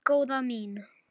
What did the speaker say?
Nei, góða mín.